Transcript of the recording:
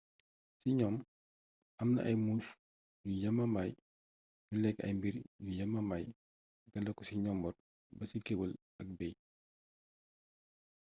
ci gnoom amna ay muus yu yamamaay yuy lékk ay mbiir yu yamamay daléko ci njomboor ba ci kéwél ak beey